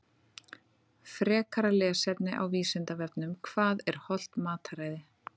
Frekara lesefni á Vísindavefnum Hvað er hollt mataræði?